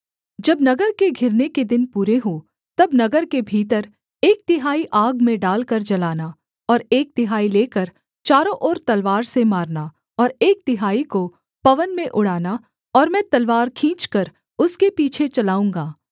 जब नगर के घिरने के दिन पूरे हों तब नगर के भीतर एक तिहाई आग में डालकर जलाना और एक तिहाई लेकर चारों ओर तलवार से मारना और एक तिहाई को पवन में उड़ाना और मैं तलवार खींचकर उसके पीछे चलाऊँगा